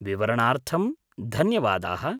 विवरणार्थं धन्यवादाः।